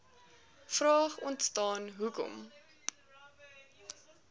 vraag ontstaan hoekom